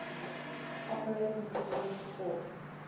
operating systems support